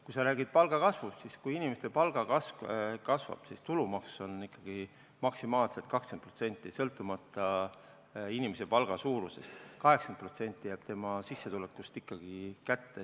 Kui sa räägid palgakasvust, siis kui inimeste palk kasvab, siis tulumaks on ikkagi maksimaalselt 20%, sõltumata inimese palga suurusest, 80% jääb sissetulekust ikkagi kätte.